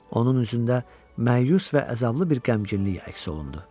Onun üzündə məyus və əzablı bir qəmginlik əks olundu.